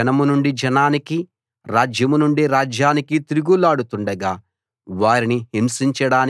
వారు జనం నుండి జనానికి రాజ్యం నుండి రాజ్యానికి తిరుగులాడుతుండగా